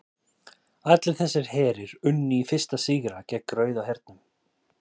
allir þessir herir unnu í fyrstu sigra gegn rauða hernum